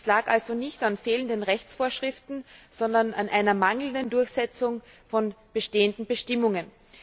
Es lag also nicht an fehlenden Rechtsvorschriften, sondern an einer mangelnden Durchsetzung von bestehenden Bestimmungen.